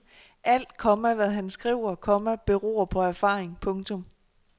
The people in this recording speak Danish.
Alt, komma hvad han skriver, komma beror på erfaring. punktum